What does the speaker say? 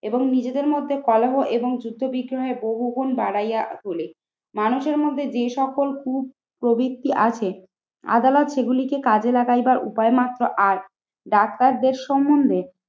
এবং নিজেদের মধ্যে কলহ এবং যুদ্ধ বিদ্রোহের বহুগুণ বাড়াইয়া তোলে। মানুষের মধ্যে যে সকল কুপ প্রবৃত্তি আছে আদালত সেগুলিকে কাজে লাগাইবার উপায় মাত্র আর ডাক্তারদের সম্মন্ধে